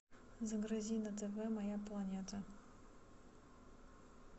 загрузи на тв моя планета